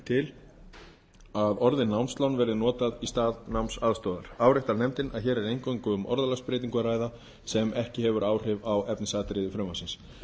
til að orðið námslán verði notað í stað námsaðstoðar áréttar nefndin að hér er eingöngu um orðalagsbreytingu að ræða sem hefur ekki áhrif á efnisatriði frumvarpsins